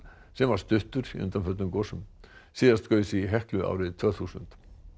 sem var stuttur í undanförnum gosum síðast gaus í Heklu árið tvö þúsund